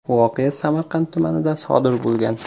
Voqea Samarqand tumanida sodir bo‘lgan.